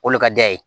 O de ka di a ye